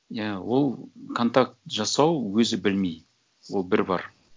иә ол контакт жасау өзі білмей ол бір бар